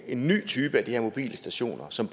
en ny type af de her mobile stationer som